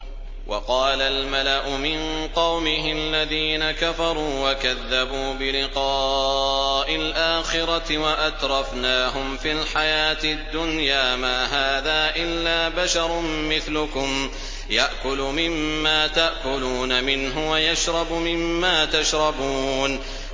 وَقَالَ الْمَلَأُ مِن قَوْمِهِ الَّذِينَ كَفَرُوا وَكَذَّبُوا بِلِقَاءِ الْآخِرَةِ وَأَتْرَفْنَاهُمْ فِي الْحَيَاةِ الدُّنْيَا مَا هَٰذَا إِلَّا بَشَرٌ مِّثْلُكُمْ يَأْكُلُ مِمَّا تَأْكُلُونَ مِنْهُ وَيَشْرَبُ مِمَّا تَشْرَبُونَ